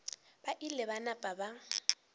ba ile ba napa ba